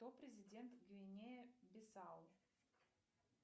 кто президент гвинеи бисау